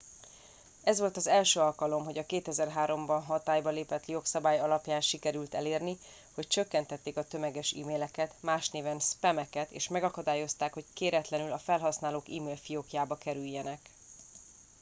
ez volt az első alkalom hogy a 2003 ban hatályba lépett jogszabály alapján sikerült elérni hogy csökkentették a tömeges emaileket más néven spam eket és megakadályozták hogy kéretlenül a felhasználók email fiókjába kerüljenek